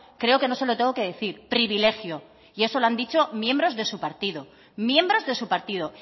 creo que no se lo tengo que decir privilegio y eso lo han dicho miembros de su partido miembros de su partido